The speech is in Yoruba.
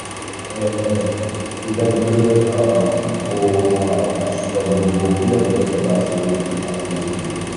um rí i dájú pé um o um sọ gbogbo kúlẹ̀kúlẹ̀ tó bá ṣeé bá ṣeé ṣe